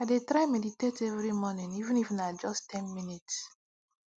i dey try meditate every morning even if na just ten minutes